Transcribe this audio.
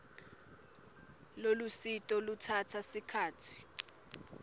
lolusito lutsatsa sikhatsi